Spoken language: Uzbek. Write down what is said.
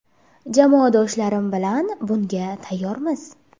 Jamoadoshlarim bilan bunga tayyormiz.